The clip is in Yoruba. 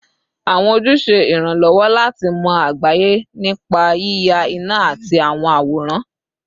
Awọn oju ṣe iranlọwọ lati mọ agbaye nipa yiya ina ati awọn aworan